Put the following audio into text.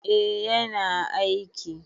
Eh yana aiki.